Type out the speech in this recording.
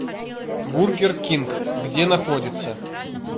бургер кинг где находится